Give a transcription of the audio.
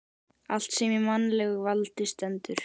Allt sem í mannlegu valdi stendur.